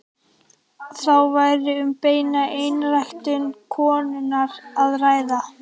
Þá væri um beina einræktun konunnar að ræða.